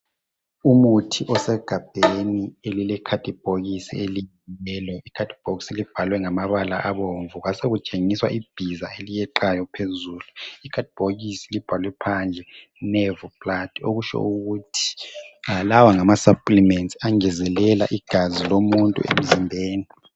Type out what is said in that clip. Umuthi osegabheni elilekhadibhokisi eliyiyelo ikhadibhokisi libhalwe ngamabala abomvu kwasekutshengiswa ibhiza eliyeqayo phezulu, ikhadibhokisi libhalwe phandle nerve blood okutsho ukuthi lawa ngama supplements angezelela igazi emzimbeni womuntu.